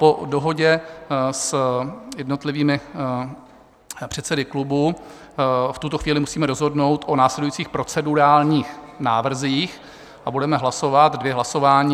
Po dohodě s jednotlivými předsedy klubů v tuto chvíli musíme rozhodnout o následujících procedurálních návrzích a budeme hlasovat dvě hlasování.